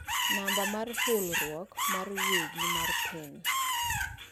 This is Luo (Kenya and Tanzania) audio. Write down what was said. Namba mar hulruok mar wegi mar PIN